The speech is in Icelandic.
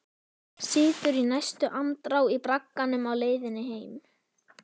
Situr í næstu andrá í bragganum á leiðinni heim.